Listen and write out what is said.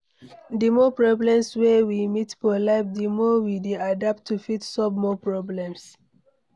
The more problems wey we meet for life, di more we dey adapt to fit solve more problems